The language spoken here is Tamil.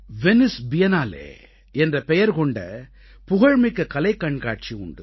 வெனைஸ் பியன்னாலே என்ற பெயர் கொண்ட புகழ்மிக்க கலைக் கண்காட்சி உண்டு